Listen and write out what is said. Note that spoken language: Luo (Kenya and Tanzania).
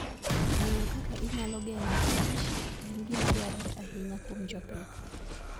Ng'eyo kaka inyalo geng' kich en gima dwarore ahinya kuom jopith.